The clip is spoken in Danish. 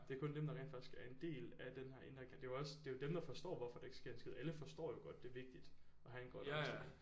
Det er kun dem der rent faktisk er en del af den inder det er også det er jo dem der forstår hvorfor der ikke sker en skid alle forstår jo godt det er vigtigt at have en grøn omstilling